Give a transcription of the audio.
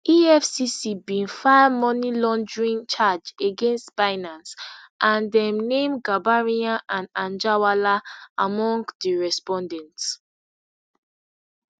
efcc bin file money laundering charge against binance and dem name gambaryan and anjarwalla among di respondents